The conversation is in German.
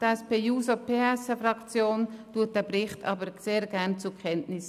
Die SP-JUSO-PSAFraktion nimmt diesen Bericht aber sehr gerne zur Kenntnis.